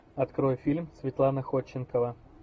открой фильм светлана ходченкова